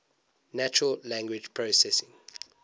natural language processing